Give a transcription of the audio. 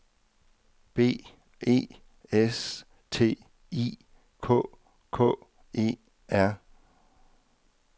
B E S T I K K E R